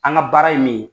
An ka baara ye min ye